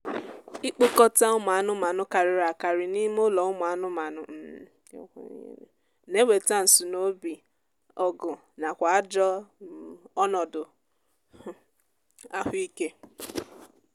ikpokọta ụmụ anụmaanụ karịrị akarị n'ime ụlọ ụmụ anụmanụ um na-eweta nsunoobi ọgụ nakwa ajọ um ọnọdụ um ahụ ike